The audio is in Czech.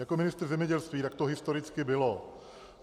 Jako ministr zemědělství, tak to historicky bylo.